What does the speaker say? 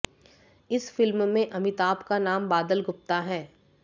इस फिल्म में अमिताभ का नाम बादल गुप्ता है